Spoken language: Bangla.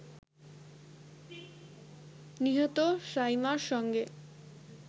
নিহত সাইমার সঙ্গে